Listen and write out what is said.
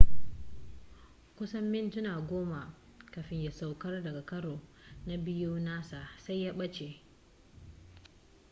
kusan mintuna goma kafin ya saukar daga karo na biyu nasa sai ya ɓace